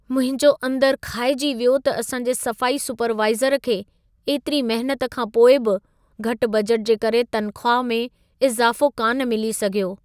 मुंहिंजो अंदर खाइजी वियो त असांजे सफ़ाई सुपरवाइज़र खे एतिरी महिनत खां पोइ बि घटि बजट जे करे तनख़्वाह में इज़ाफ़ो कान मिली सघियो।